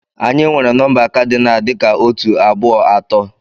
Anyị nwere nọmba kadinal dị ka otu, abụọ, atọ.